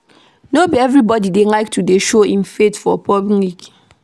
No be everybodi dey like to dey show im faith for public.